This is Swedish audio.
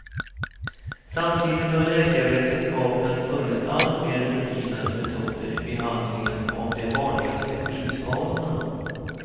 Samtidigt har läkarvetenskapen funnit alltmer förfinade metoder i behandlingen av de vanligaste skidskadorna.